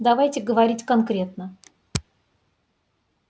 давайте говорить конкретно